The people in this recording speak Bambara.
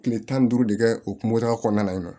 Kile tan ni duuru de kɛ o kɔnɔna na yen nɔ